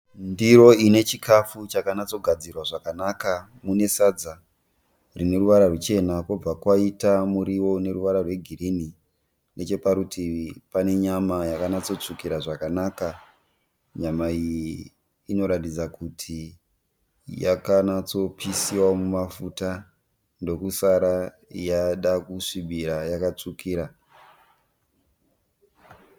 Ndiro inechikafu chakanyatsogadzirwa zvakanaka. Mune sadza rine ruvara ruchena, kobva kwaita muriwo uneruvara rwegirini. Nechaparutivi pane nyama yakanyatsotsvukira zvakanaka. Nyama iyi inoratidza kuti yakanyatsopisiwa mumafuta ndokusara yadakusvibira yakatsvukira.